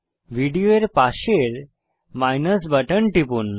video এর পাশের minus button টিপুন